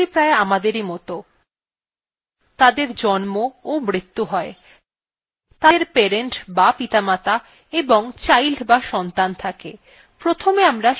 processesগুলি প্রায় আমাদের মতই তাদের জন্ম ও মৃতু হয় তাদের parent die পিতামাতা এবং child die সন্তান থাকে